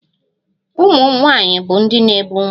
Ụmụ nwanyị bụ ndị na-ebu ụmụaka